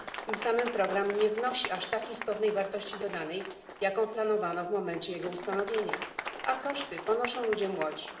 Tym samym program nie wnosi aż tak istotnej wartości dodanej, jaką planowano w momencie jego ustanowienia, a koszty ponoszą ludzie młodzi.